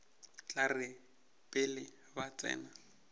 tla re pele ba tsena